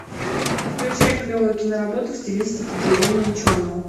включай клевую киноработу в стилистике трибуна ученого